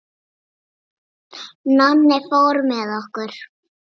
Nonni fór með okkur.